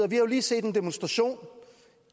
vi har lige set en demonstration